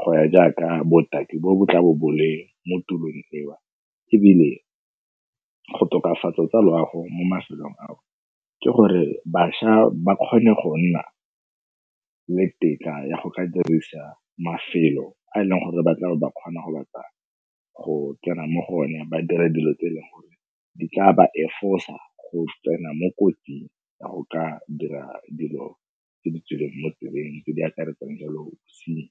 go ya jaaka botaki bo bo tlabo bo le mo tulong eo. Ebile go tokafatsa tsa loago mo mafelong ao ke gore bašwa ba kgone go nna le tetla ya go ka dirisa mafelo a e leng gore ba tlabe ba kgona go batla go kena mo go one, ba dira dilo tse e leng gore di tla ba efosa go tsena mo kotsing ya go ka dira dilo ke di tswileng mo tseleng tse di akaretsang jalo bosenyi.